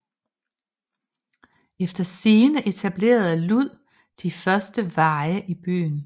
Efter sigende etablerede Lud de første veje i byen